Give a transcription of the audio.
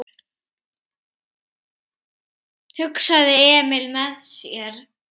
hugsaði Emil með sér.